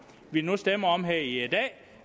vi nu stemmer om her i dag